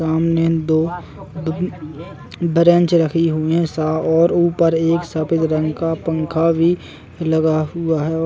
सामने दो ब्रेनच रखी हुई हैं सा और ऊपर एक सफेद रंग का पंखा भी लगा हुआ है और --